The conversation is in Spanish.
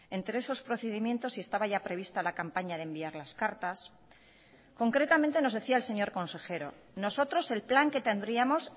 entre esos procedimientos si estaba ya prevista la campaña de enviar las cartas concretamente nos decía el señor consejero nosotros el plan que tendríamos